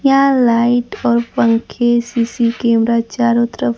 यहां लाइट और पंखे सी_सी कैमरा चारों तरफ--